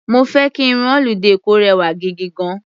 Mo fẹ́ kí irun holiday kò rẹwà gigigan.